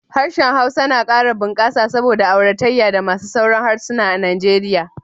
Harshen Hausa na kara bunkasa saboda auratayya da masu sauran harsuna a Nigeria